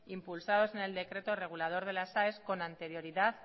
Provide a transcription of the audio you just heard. impulsados en el decreto regulador de las aes con anterioridad